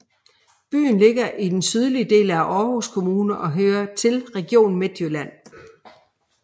Byen ligger i den sydlige del af Aarhus Kommune og hører til Region Midtjylland